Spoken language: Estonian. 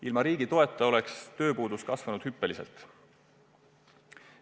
Ilma riigi toeta oleks tööpuudus kasvanud hüppeliselt.